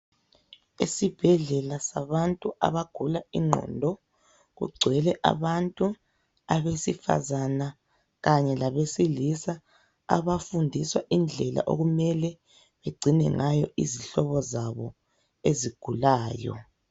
Isibhedlela sabantu abagula ingqondo, kugcwele abantu. Abesifazana kanye labesifazana. Abafundiswa indlela okumele bagcine ngayo izihlobo zabo ezigulayo.